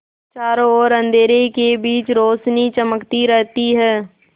चारों ओर अंधेरे के बीच रौशनी चमकती रहती है